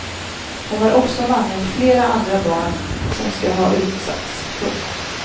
Hon har också namngett flera andra barn som ska ha utsatts. punkt